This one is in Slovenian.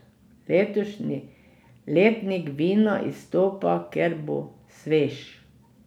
Letošnji letnik vina izstopa, ker bo svež.